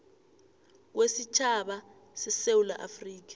kwesitjhaba sesewula afrika